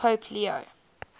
pope leo